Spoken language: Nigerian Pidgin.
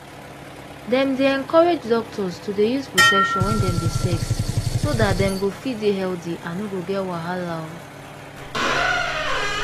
dem dey encourage doctors to dey use protection wen dem dey sex so dat dem go fit dey healthy and no get wahala.